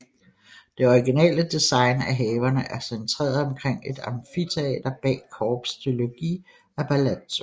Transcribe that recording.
Det originale design af haverne er centreret omkring et amfiteater bag corps de logis af palazzo